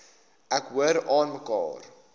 ek hoor aanmekaar